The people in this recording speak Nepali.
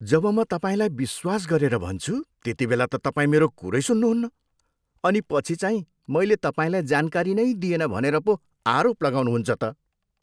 जब म तपाईँलाई विश्वास गरेर भन्छु त्यतिबेला त तपाईँ मेरो कुरै सुन्नुहुन्न अनि पछि चाहिँ मैले तपाईँलाई जानकारी नै दिएन भनेर पो आरोप लाउनुहुन्छ त।